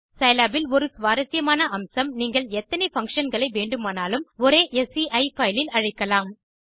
Scilab இல் ஒரு சுவாரசியமான அம்சம் நீங்கள் எத்தனை பங்ஷன் களை வேண்டுமானாலும் ஒரே sci பைல் இல் அழைக்கலாம்